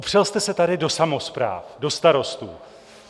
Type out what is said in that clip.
Opřel jste se tady do samospráv, do starostů.